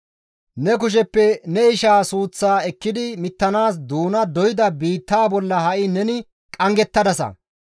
Ne kusheppe ne ishaa suuththaa ekkidi mittanaas doona doyda biittaa bolla ha7i neni qanggettadasa.